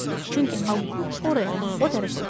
Çünki Aqquk oraya, o tərəfə uçurdu.